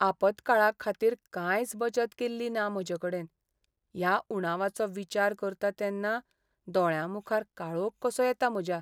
आपतकाळाखातीर कांयच बचत केल्ली ना म्हजेकडेन. ह्या उणावाचो विचार करतां तेन्ना दोळ्यांमुखार काळोख कसो येता म्हज्या.